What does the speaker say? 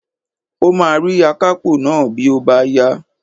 O máa rí akápò náà bí ó bá yá